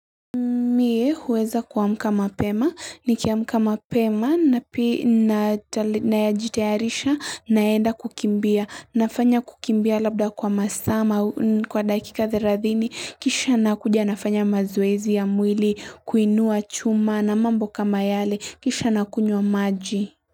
Mie huweza kuamka mapema, nikiamka mapema nayajitayarisha naenda kukimbia, nafanya kukimbia labda kwa masaa ma kwa dakika 30 kisha nakuja nafanya mazoezi ya mwili, kuinua chuma na mambo kama yale kisha nakunywa maji.